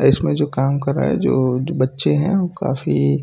इसमें जो काम कर रहा है जो बच्चे हैं वो काफी